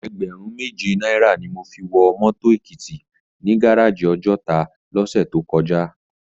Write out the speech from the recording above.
Ègbèrún méjé náirâ ni mó fi wò mòtó Ekiti ni gáráji Òjòtá lòsè tókòjá